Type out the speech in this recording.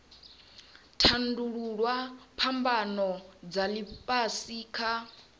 tandululwa phambano dza ifhasi kha